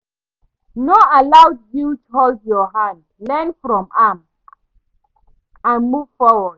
No allow guilt hold you down, learn from am and move forward.